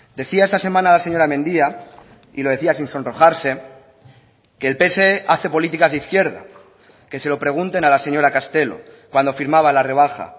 decía esta semana la señora mendia y lo decía sin sonrojarse que el pse hace políticas de izquierda que se lo pregunten a la señora castelo cuando firmaba la rebaja